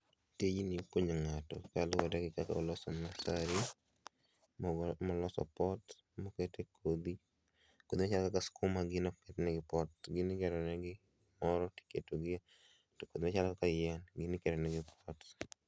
Tijni nya konyo ngato kaluore gi kaka oloso masai moloso pot mokete kodhi .Kodhi kaka skuma gin gino, ok ket negi pot, gin igero negi gimoro tiketogie to machalo kaka yien gin iketonegi pot